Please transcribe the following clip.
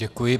Děkuji.